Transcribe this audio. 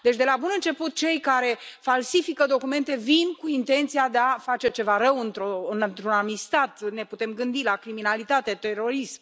Deci de la bun început cei care falsifică documente vin cu intenția de a face ceva rău, într un anumit stat, ne putem gândi la criminalitate, terorism.